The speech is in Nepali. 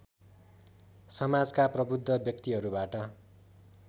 समाजका प्रबुद्ध व्यक्तिहरूबाट